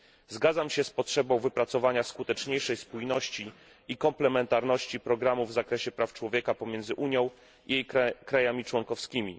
Zgadzam się z potrzebą wypracowania skuteczniejszej spójności i komplementarności programów w zakresie praw człowieka pomiędzy Unią i państwami członkowskimi.